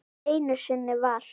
Einu sinni var.